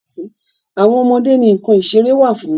Àwọn ọmọ ọmọdé ni nǹkan ìṣeré fún.